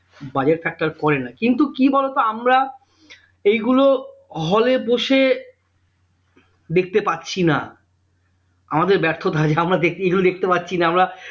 Budget factor করে না কিন্তু কি বলতো? আমরা এইগুলো hall এ বসে দেখতে পারছি না আমাদের ব্যর্থতা যে আমরা দেখতে গিয়েও দেখতে পাচ্ছি না আমরা